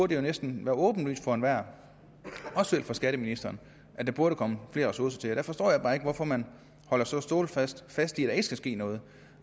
det jo næsten være åbenlyst for enhver også for skatteministeren at der burde komme flere ressourcer til der forstår jeg bare ikke hvorfor man holder så stålsat fast i at der ikke skal ske noget